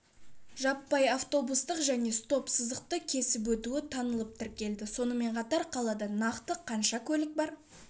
жаппай автобустық және стоп-сызықты кесіп өтуі танылып тіркеледі сонымен қатар қалада нақты қанша көлік бар